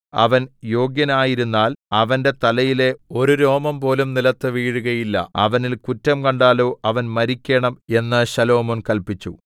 അവൻ യോഗ്യനായിരുന്നാൽ അവന്റെ തലയിലെ ഒരു രോമംപോലും നിലത്ത് വീഴുകയില്ല അവനിൽ കുറ്റം കണ്ടാലോ അവൻ മരിക്കേണം എന്ന് ശലോമോൻ കല്പിച്ചു